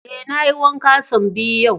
Eh, na yi wanka son biyu yau.